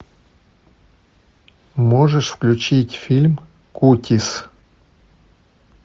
можешь включить фильм кутис